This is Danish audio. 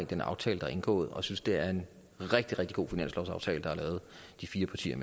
den aftale der er indgået og synes det er en rigtig rigtig god finanslovsaftale der er lavet de fire partier